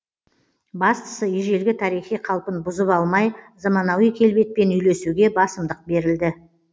бастысы ежелгі тарихи қалпын бұзып алмай заманауи келбетпен үйлесуге басымдық берілді